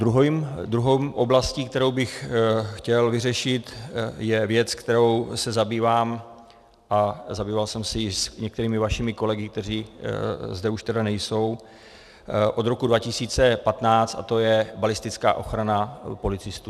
Druhou oblastí, kterou bych chtěl vyřešit, je věc, kterou se zabývám, a zabýval jsem se jí s některými vašimi kolegy, kteří zde už tedy nejsou, od roku 2015, a to je balistická ochrana policistů.